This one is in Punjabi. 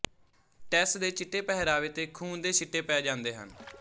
ਟੈੱਸ ਦੇ ਚਿੱਟੇ ਪਹਿਰਾਵੇ ਤੇ ਖੂਨ ਦੇ ਛਿੱਟੇ ਪੈ ਜਾਂਦੇ ਹਨ